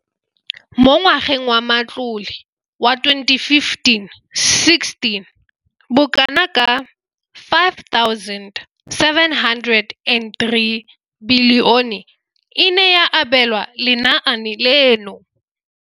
Mo ngwageng wa matlole wa 2015 16, bokanaka 5 703 bilione e ne ya abelwa lenaane leno.